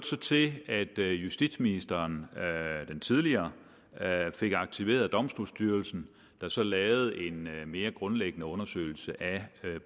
så til at justitsministeren den tidligere fik aktiveret domstolsstyrelsen der så lavede en mere grundlæggende undersøgelse af